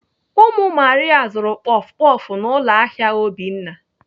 Ụmụ Maria zuru kpọf kpọf n'ụlọ ahịa Obinna.